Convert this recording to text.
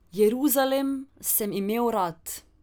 Jeruzalem sem imel rad.